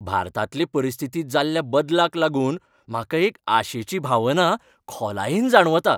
भारतांतले परिस्थितींत जाल्ल्या बदलाक लागून म्हाका एक आशेची भावना खोलायेन जाणवता .